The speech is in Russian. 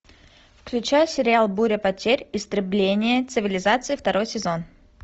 включай сериал буря потерь истребление цивилизации второй сезон